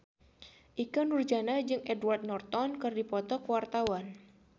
Ikke Nurjanah jeung Edward Norton keur dipoto ku wartawan